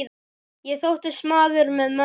Ég þóttist maður með mönnum.